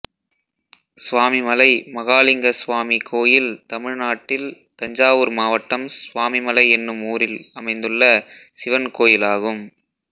சுவாமிமலை மகாளிங்கசுவாமி கோயில் தமிழ்நாட்டில் தஞ்சாவூர் மாவட்டம் சுவாமிமலை என்னும் ஊரில் அமைந்துள்ள சிவன் கோயிலாகும்